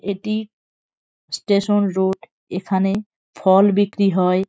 এটি station road এখানে ফল বিক্রি হয়।